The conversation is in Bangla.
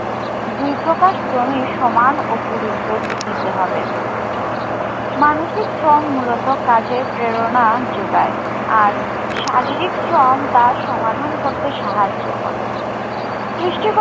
দুই প্রকার শ্রমেই সমান ও গুরুত্ব দিতে হবে। মানসিক শ্রম মূলত কাজের প্রেরণা যোগায়। আর শারীরিক শ্রম তা সমাধান করতে সাহায্য করে। সৃষ্টি